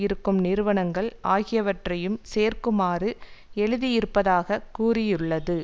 இருக்கும் நிறுவனங்கள் ஆகியவற்றையும் சேர்க்குமாறு எழுதியிருப்பதாகக் கூறியுள்ளது